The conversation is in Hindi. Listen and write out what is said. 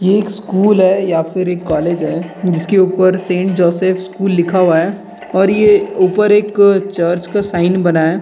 ये एक स्कूल है या फिर कॉलेज है जिसके ऊपर सेंट जोसेफ स्कूल लिखा हुआ है और ये ऊपर एक चर्च का साइन बनाया है।